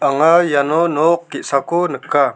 anga iano nok ge·sako nika.